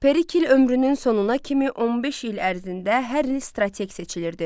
Perikl ömrünün sonuna kimi 15 il ərzində hər il strateq seçilirdi.